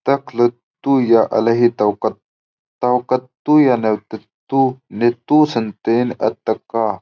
ता कत का तुक अलह ता उल --